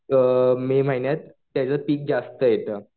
अ May महिन्यात त्याचं पीक जास्त येतं.